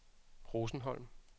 Rosenholm